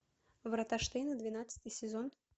врата штейна двенадцатый сезон